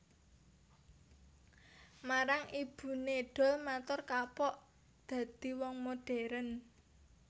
Marang ibuné Doel matur kapok dadi wong moderen